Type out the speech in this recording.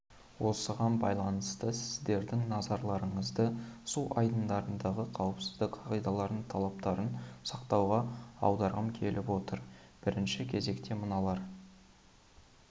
осыған байланысты сіздердің назарларыңызды су айдындарындағы қауіпсіздік қағидаларының талаптарын сақтауға аударғым келіп отыр бірінші кезекте мыналарға